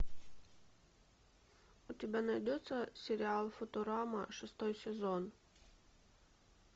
у тебя найдется сериал футурама шестой сезон